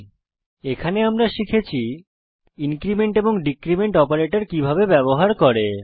এই টিউটোরিয়ালে আমরা শিখেছি ইনক্রীমেন্ট এবং ডীক্রীমেন্ট অপারেটর কিভাবে ব্যবহার করে